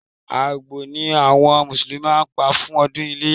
Àgbò ni àwọn Mùsùlùmí máa pa fún ọdún iléyá